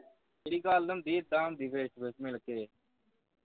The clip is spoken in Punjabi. ਮੇਰੀ ਗੱਲ ਹੁੰਦੀ ਏਦਾ ਹੁੰਦੀ face to face ਮਿਲ ਕੇ